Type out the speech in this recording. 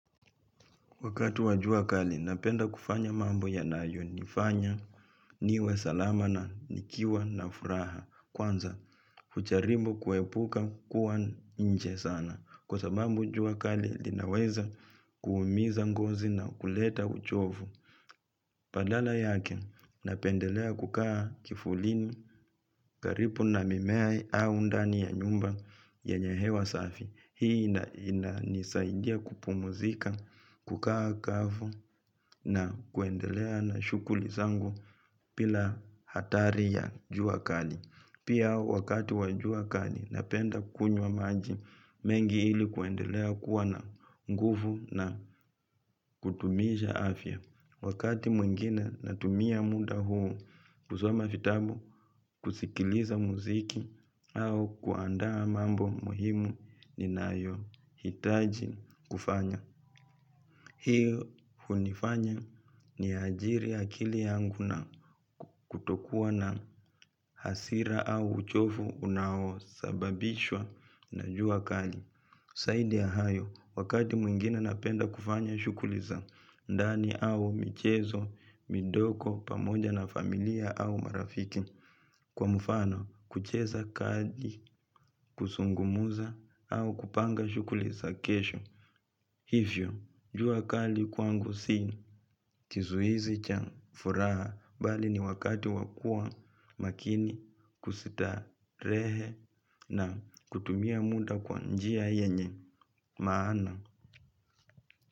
Wakati wa jua kali, napenda kufanya mambo yanayo nifanya, niwe salama na nikiwa na furaha. Kwanza, hucharibu kuepuka kuwa nje sana. Kwa sababu jua kali, linaweza kuumiza ngozi na kuleta uchovu. Badala yake, napendelea kukaa kifulini karibu na mimea au ndani ya nyumba yenye hewa safi. Hii, ina nisaidia kupumzika, kukaa kavu na kuendelea na shughuli zangu bila hatari ya jua kali. Pia wakati wa jua kali, napenda kunywa maji mengi ili kuendelea kuwa na nguvu na kudumisha afya. Wakati mwingine natumia muda huu, kusoma vitabu, kusikiliza muziki au kuandaa mambo muhimu ninayo hitaji kufanya. Hiyo hunifanya ni ajiri akili yangu na kutokuwa na hasira au uchovu unaosababishwa na jua kali. Zaidi ya hayo, wakati mwingine napenda kufanya shughuli za, ndani au michezo, midogo, pamoja na familia au marafiki. Kwa mfano, kucheza kadi, kuzungumza au kupanga shughuli za kesho. Hivyo, jua kali kwangu si kizuizi cha furaha bali ni wakati wakuwa makini kustarehe na kutumia muda kwa njia yenye maana.